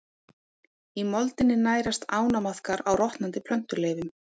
Í moldinni nærast ánamaðkar á rotnandi plöntuleifum.